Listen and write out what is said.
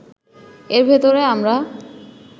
এর ভেতরে আমরা